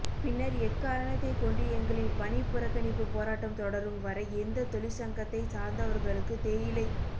பின்னர் எக்காரணத்தை கொண்டு எங்களின் பணிபுறகனிப்பு போராட்டம் தொடரும் வரை எந்த தொழிசங்கத்தை சார்ந்தவர்களுக்கு தேயிலை